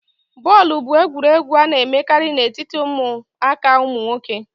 bọọlụ bụ egwuregwu a na-emekarị na etiti ụmụaka ụmụ nwoke